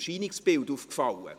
Ich entschuldige mich.